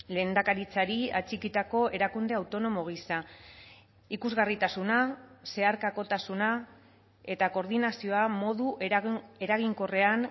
lehendakaritzari atxikitako erakunde autonomo gisa ikusgarritasuna zeharkakotasuna eta koordinazioa modu eraginkorrean